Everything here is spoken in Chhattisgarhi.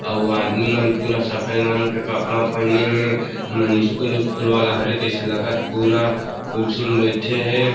आऊ आदमी मन पुरा सफ़ेद रंग के कपडा पहीने हे ये मन स्कूल वुसकुल वाला हरे तइसे लगत हे पूरा कुर्सी म बइठे हे।